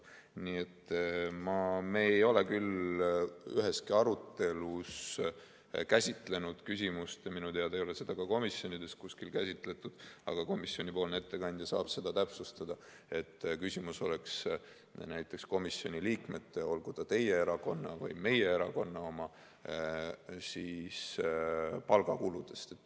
Nii et me ei ole küll üheski arutelus käsitlenud seda ja minu teada ei ole seda kuskil komisjonides käsitletud , nagu küsimus oleks näiteks komisjoni liikmete, olgu nad teie või meie erakonna omad, palgakuludes.